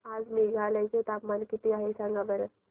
आज मेघालय चे तापमान किती आहे सांगा बरं